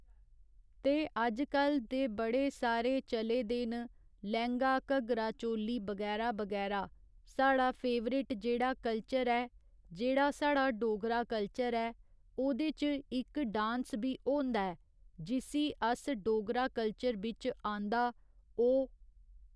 ते अजकल ते बड़े सारे चले दे न लैहंगा घघरा चोली बगैरा बगैरा साढ़ा फेवरेट जेह्ड़ा कल्चर ऐ जेह्ड़ा साढ़ा डोगरा कल्चर ऐ ओह्दे च इक्क डांस बी होंदा ऐ जिसी अस डोगरा कल्चर बिच्च आंदा ओह्